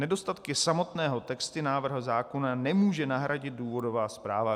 Nedostatky samotného textu návrhu zákona nemůže nahradit důvodová zpráva.